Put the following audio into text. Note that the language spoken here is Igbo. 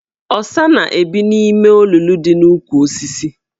Ọsa na-ebi n' ime olulu dị n' ukwu osisis.